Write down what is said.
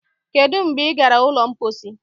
Kedụ mgbe ị gara ụlọ mposi